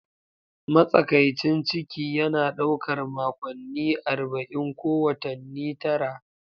Matsakaicin ciki yana ɗaukar makonni 40, ko watanni tara.